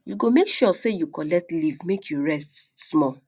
you go make sure sey you collect leave make you rest small